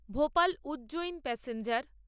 Bhopal Ujjain express